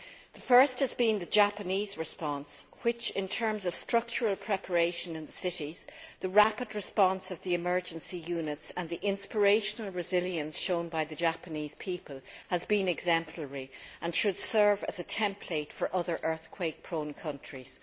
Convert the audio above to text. The first has been the Japanese response which, in terms of structural preparation in the cities, the rapid response of the emergency units and the inspirational resilience shown by the Japanese people, has been exemplary and should serve as a template for other earthquake prone countries.